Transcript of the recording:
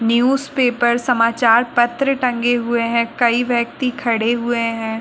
Newspaper समाचारपत्र टंगे हुए हैं। कई व्यक्ति खड़े हुए हैं।